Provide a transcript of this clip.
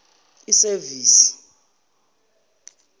isevisi